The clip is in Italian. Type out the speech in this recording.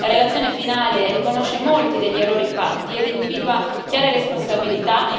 La relazione finale riconosce molti degli errori fatti ed individua chiare responsabilità.